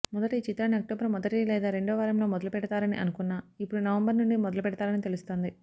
మొదట ఈ చిత్రాన్ని అక్టోబర్ మొదటి లేదా రెండవ వారంలో మొదలుపెడతారని అనుకున్నా ఇప్పుడు నవంబర్ నుండి మొదలుపెడతారని తెలుస్తోంది